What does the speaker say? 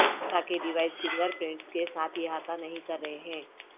تاکہ device fingerprints کے ساتھ احاطہ نہیں کر رہے ہیں